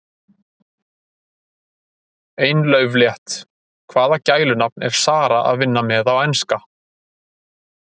Ein lauflétt: Hvaða gælunafn er Zara að vinna með á Enska?